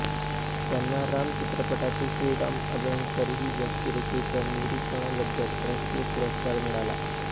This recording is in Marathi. त्यांना हे राम चित्रपटातील श्रीराम अभ्यंकर ही व्यक्तिरेखेच्या निरुपणाबद्दल राष्ट्रीय पुरस्कार मिळाला